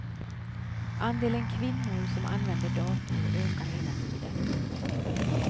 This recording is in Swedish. Andelen kvinnor som använder dator ökar hela tiden.